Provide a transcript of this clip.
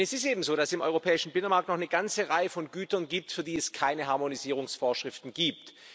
Denn es ist eben so, dass es im europäischen Binnenmarkt noch eine ganze Reihe von Gütern gibt, für die es keine Harmonisierungsvorschriften gibt.